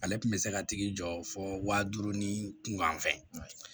Ale tun bɛ se ka tigi jɔ fo waa duuru ni fɛ